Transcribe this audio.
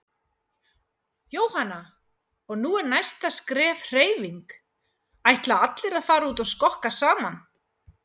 Jóhanna: Og nú er næsta skref hreyfing, ætla allir að fara út að skokka saman?